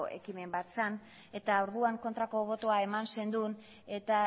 ekimen bat zen eta orduan kontrako botoa eman zenuen eta